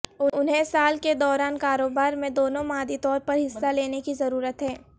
انہیں سال کے دوران کاروبار میں دونوں مادی طور پر حصہ لینے کی ضرورت ہے